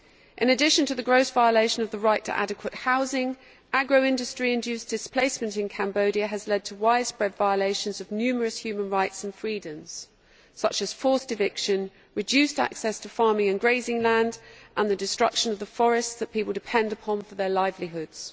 In addition to the gross violation of the right to adequate housing, agro industry induced displacement in Cambodia has led to widespread violations of numerous human rights and freedoms, such as forced eviction, reduced access to farming and grazing lands and the destruction of the forests which people depend upon for their livelihoods.